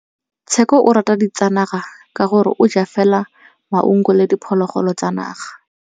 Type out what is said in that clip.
Tshekô o rata ditsanaga ka gore o ja fela maungo le diphologolo tsa naga.